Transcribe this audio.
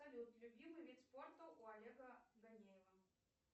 салют любимый вид спорта у олега ганеева